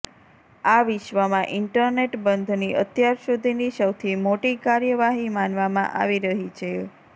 આ વિશ્વમાં ઈન્ટરનેટ બંધની અત્યાર સુધીની સૌથી મોટી કાર્યવાહી માનવામાં આવી રહી છે